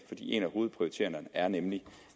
en af hovedprioriteringerne er nemlig